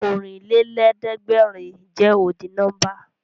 Ọ̀rìnlélẹ̀ẹ̀dẹ́gbèrin jẹ́ ọ́dì nọ́mbà